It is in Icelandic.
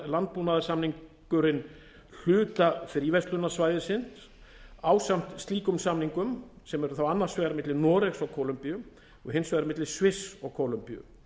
landbúnaðarsamningurinn hluta fríverslunarsvæðisins ásamt slíkum samningum sem eru þá annars vegar milli noregs og kólumbíu og hins vegar milli sviss og kólumbíu